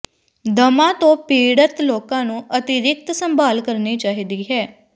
ਦਮਾ ਤੋਂ ਪੀੜਤ ਲੋਕਾਂ ਨੂੰ ਅਤਿਰਿਕਤ ਸੰਭਾਲ ਕਰਨੀ ਚਾਹੀਦੀ ਹੈ